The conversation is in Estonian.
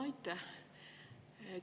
Aitäh!